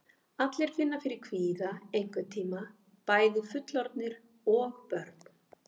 Allir finna fyrir kvíða einhvern tíma, bæði fullorðnir og börn.